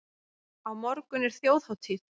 Á morgun er þjóðhátíð.